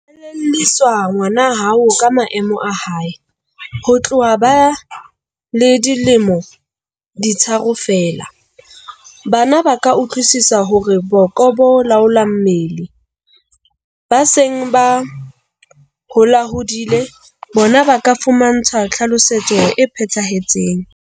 Elellwisa ngwana hao ka maemo a hae. Ho tloha ba le dilemo di tharo feela, bana ba ka utlwisisa hore boko bo laola mmele. Ba seng ba holahodile bona ba ka fumantshwa tlhalosetso e phethahetseng.